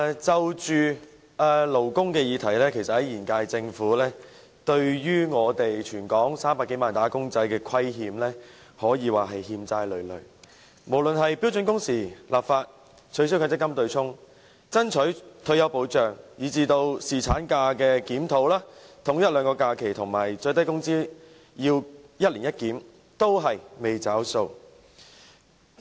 在勞工議題上，現屆政府對全港300多萬名"打工仔"可謂欠債累累，無論是標準工時立法、取消強制性公積金對沖、爭取退休保障，以至檢討侍產假、統一法定假日和公眾假期，以及最低工資要一年一檢，均未"找數"。